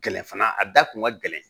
Gɛlɛn fana a da kun ka gɛlɛn